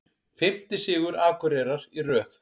Fimmti sigur Akureyrar í röð